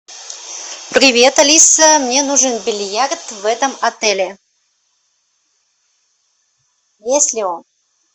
привет алиса мне нужен бильярд в этом отеле есть ли он